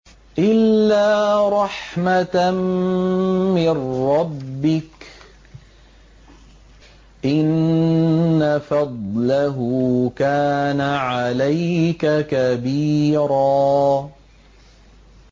إِلَّا رَحْمَةً مِّن رَّبِّكَ ۚ إِنَّ فَضْلَهُ كَانَ عَلَيْكَ كَبِيرًا